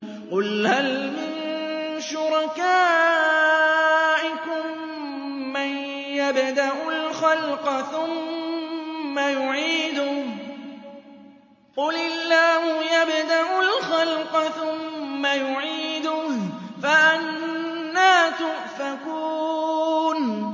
قُلْ هَلْ مِن شُرَكَائِكُم مَّن يَبْدَأُ الْخَلْقَ ثُمَّ يُعِيدُهُ ۚ قُلِ اللَّهُ يَبْدَأُ الْخَلْقَ ثُمَّ يُعِيدُهُ ۖ فَأَنَّىٰ تُؤْفَكُونَ